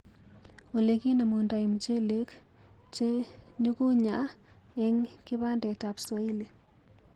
Ole kinemundai mchelek che nyukunyaa eng kibandetab swahili.